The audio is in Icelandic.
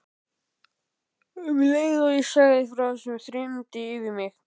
Um leið og ég sagði frá þessu þyrmdi yfir mig.